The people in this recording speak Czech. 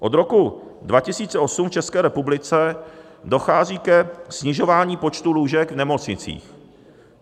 Od roku 2008 v České republice dochází ke snižování počtu lůžek v nemocnicích.